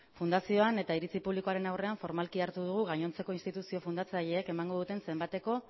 fundazioan eta iritzi publikoaren aurrean formalki hartu dugu gainontzeko instituzio fundatzaileek emango zenbateko